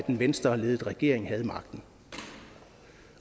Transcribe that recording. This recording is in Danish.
en venstreledet regering havde magten